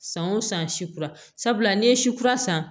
San o san si kura n'i ye si kura san